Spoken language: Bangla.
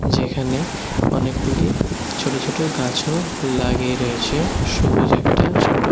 যেখানে অনেকগুলি ছোট ছোট গাছও লাগিয়ে রয়েছে সবুজ একটা ছোট --